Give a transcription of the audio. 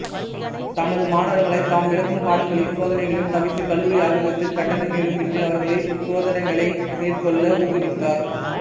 தமது மாணவர்களை தாம் விளக்கும் பாடங்களையும் சோதனைகளையும் தவிர்த்து கல்லூரி ஆய்வகத்தில் கட்டணமேதுமின்றி அவர்களே சோதனைகளை மேற்கொள்ள ஊக்குவித்தார்